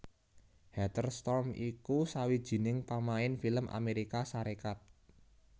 Heather Storm iku sawijining pamain film Amérika Sarékat